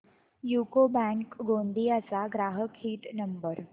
UCO bank Gondia चा ग्राहक हित नंबर